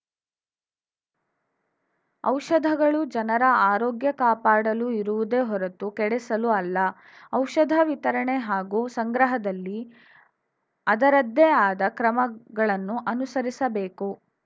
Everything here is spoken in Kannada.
ಔಷಧಗಳು ಜನರ ಆರೋಗ್ಯ ಕಾಪಾಡಲು ಇರುವುದೇ ಹೊರತು ಕೆಡಿಸಲು ಅಲ್ಲ ಔಷಧ ವಿತರಣೆ ಹಾಗೂ ಸಂಗ್ರಹದಲ್ಲಿ ಅದರದ್ದೇ ಆದ ಕ್ರಮಗಳನ್ನು ಅನುಸರಿಸಬೇಕು